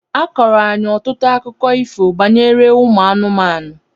A kọọrọ anyị ọtụtụ akụkọ ifo banyere ụmụ anụmanụ.